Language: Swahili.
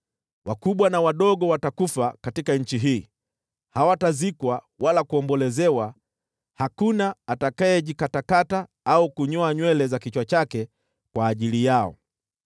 “Wakubwa na wadogo watakufa katika nchi hii. Hawatazikwa wala kuombolezewa, na hakuna atakayejikatakata au kunyoa nywele za kichwa chake kwa ajili yao.